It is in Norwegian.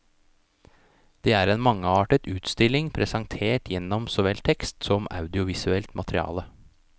Det er en mangeartet utstilling presentert gjennom såvel tekst som audiovisuelt materiale.